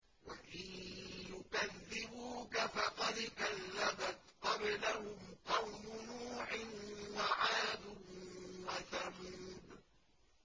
وَإِن يُكَذِّبُوكَ فَقَدْ كَذَّبَتْ قَبْلَهُمْ قَوْمُ نُوحٍ وَعَادٌ وَثَمُودُ